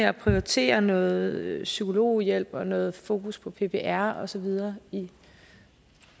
at prioritere noget psykologhjælp og noget fokus på ppr og så videre